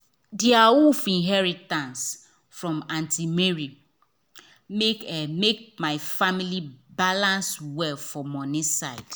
the awoof inheritance from aunt mary make make my family balance well for money side.